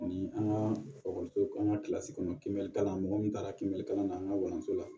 Ni an ka an ka kilasi kɔnɔn kibe kalan na mɔgɔ min taara kiblikalan na an ka walanso la